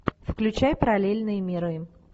включай параллельные миры